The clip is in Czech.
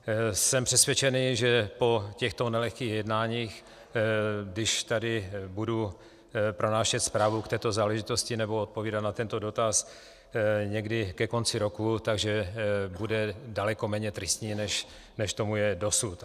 Jsem přesvědčen, že po těchto nelehkých jednáních, když tady budu pronášet zprávu k této záležitosti nebo odpovídat na tento dotaz někdy ke konci roku, tak bude daleko méně tristní, než tomu je dosud.